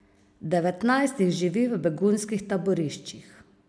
Devetnajst jih živi v begunskih taboriščih.